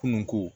Kununko